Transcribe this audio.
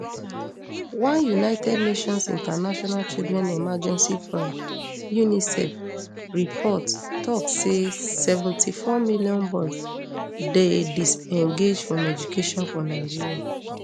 one united nations international children emergency fund unicef report tok say seventy-four million boys dey disengaged from education for nigeria